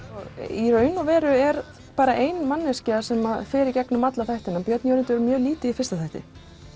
í raun og veru er bara ein manneskja sem fer í gegnum alla þættina björn Jörundur er mjög lítið í fyrsta þætti